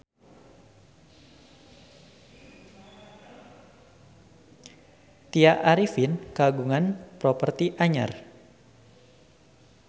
Tya Arifin kagungan properti anyar